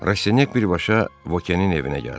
Rastinyak birbaşa Vokenin evinə gəldi.